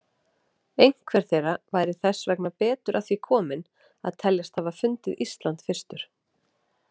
Einhver þeirra væri þess vegna betur að því kominn að teljast hafa fundið Ísland fyrstur.